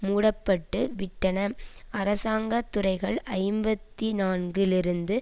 மூடப்பட்டு விட்டன அரசாங்க துறைகள் ஐம்பத்தி நான்கு லிருந்து